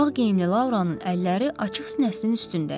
Ağ geyimli Lauranın əlləri açıq sinəsinin üstündə idi.